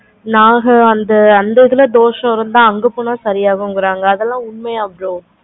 நாங்க அந்த இதுல தோஷம் இருந்த அங்க போன சரி ஆகும் சொல்றாங்க அதெல்லாம் உண்மையா bro